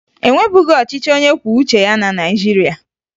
E nwebughi ọchịchị onyekwuoucheya na Naịjirịa